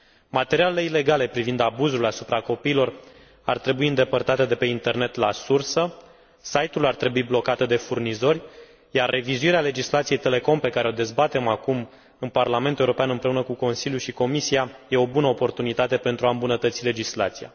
Materialele ilegale privind abuzul asupra copiilor ar trebui îndepărtate de pe internet la sursă, site urile ar trebui blocate de furnizori iar revizuirea legislației Telecom pe care o dezbatem acum în Parlamentul European împreună cu Consiliul și Comisia, e o bună oportunitate pentru a îmbunătății legislația.